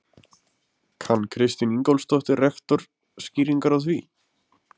Kann Kristín Ingólfsdóttir, rektor, skýringar á því?